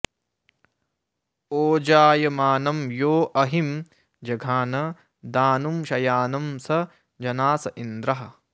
ओजायमानं यो अहिं जघान दानुं शयानं स जनास इन्द्रः